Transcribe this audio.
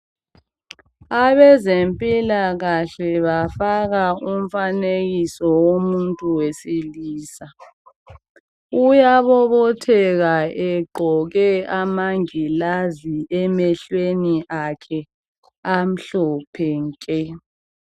abaze mpilakahle bafaka imifanekiso womutu wesilisa uyabobotheka egqoke amangilazi emehlweni akhe amhlophe nke